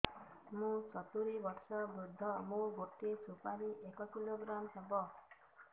ମୁଁ ସତୂରୀ ବର୍ଷ ବୃଦ୍ଧ ମୋ ଗୋଟେ ସୁପାରି ଏକ କିଲୋଗ୍ରାମ ହେବ